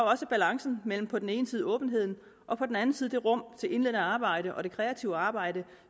også balancen mellem på den ene side åbenheden og på den anden side det rum til indledende arbejde og det kreative arbejde